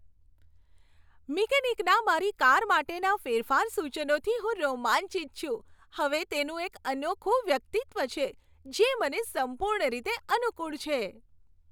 મિકેનિકના મારી કાર માટેના ફેરફાર સૂચનોથી હું રોમાંચિત છું. હવે તેનું એક અનોખું વ્યક્તિત્વ છે, જે મને સંપૂર્ણ રીતે અનુકૂળ છે.